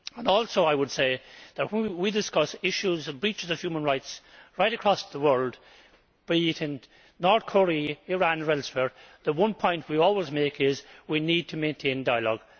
Also I would say that when we discuss issues of breaches of human rights right across the world, be it in North Korea, Iran or elsewhere, the one point we always make is that we need to maintain dialogue.